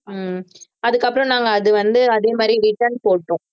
ஹம் அதுக்கப்புறம் நாங்க அது வந்து அதே மாதிரி return போட்டோம்